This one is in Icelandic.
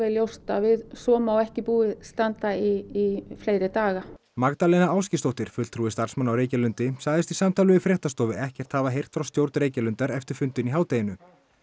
ljóst að svo má ekki standa í fleiri daga Magdalena Ásgeirsdóttir fulltrúi starfsmanna á Reykjalundi sagðist í samtali við fréttastofu ekkert hafa heyrt frá stjórn Reykjalundar eftir fundinn í hádeginu